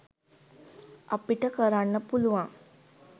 අපිට කරන්න පුළුවන්